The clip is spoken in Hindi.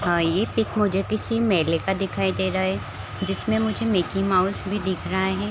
हाँ ये पिक मुझे किसी मेले का दिखाई दे रहा है जिसमें मुझे मिकी माउस भी दिख रहा है।